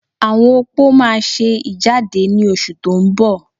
Àwọn opó máa ṣe ìjáde ní oṣù tó ń bọ̀